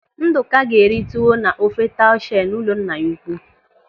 Ndụka ga-eri tuwo na ofe taushe n'ụlọ nna ya ukwu.